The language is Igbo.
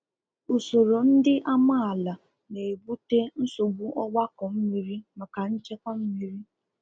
usoro ndị amaala na-ebute nsogbu ọgbakọ mmiri maka nchekwa mmiri